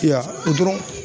Ya o dɔrɔn